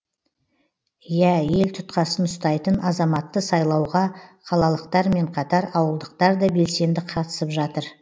иә ел тұтқасын ұстайтын азаматты сайлауға қалалықтармен қатар ауылдықтар да белсенді қатысып жатыр